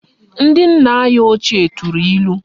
Ndi nna anyi ochie turu ilu